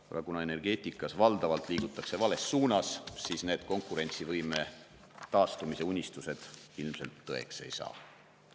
Aga kuna energeetikas valdavalt liigutakse vales suunas, siis need konkurentsivõime taastumise unistused ilmselt tõeks ei saa.